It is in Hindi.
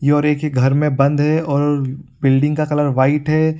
ये और एक ही घर में एक बंद है और बिल्डिंग का कलर व्हाइट है।